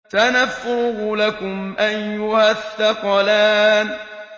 سَنَفْرُغُ لَكُمْ أَيُّهَ الثَّقَلَانِ